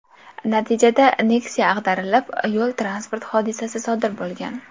Natijada Nexia ag‘darilib, yo‘l transport hodisasi sodir bo‘lgan.